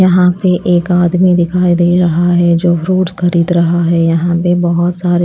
यहां पे एक आदमी दिखाई दे रहा है जो फ्रूट खरीद रहा है यहां पे बहोत सारे--